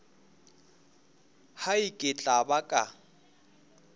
hai ke tla ba ka